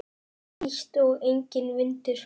Hlýtt og enginn vindur.